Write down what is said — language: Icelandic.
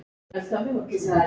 Það varð að hafa það.